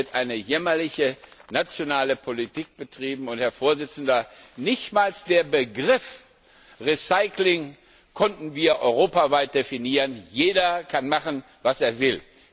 Es wird eine jämmerliche nationale Politik betrieben, und nicht einmal den Begriff Recycling konnten wir europaweit definieren. Jeder kann machen, was er will.